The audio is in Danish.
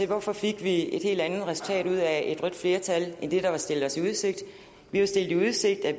hvorfor fik vi et helt andet resultat ud af et rødt flertal end det der var stillet os i udsigt vi var stillet i udsigt at